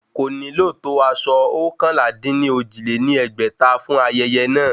Kò ní nílò tó aṣọ oókànlá-dín-ní-ojì lé ní ẹgbẹ́ta fún ayẹyẹ náà